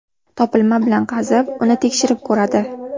Topilma bilan qiziqib, uni tekshirib ko‘radi.